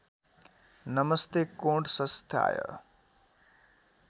नमस्ते कोणसंस्थाय